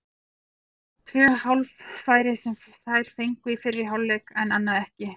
Það voru svona tvö hálffæri sem þær fengu í fyrri hálfleik, annað ekki.